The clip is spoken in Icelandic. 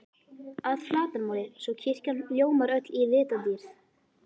að flatarmáli, svo kirkjan ljómar öll í litadýrð.